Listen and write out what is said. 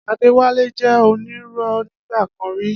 Adewale jẹ onírun nigba kan rí.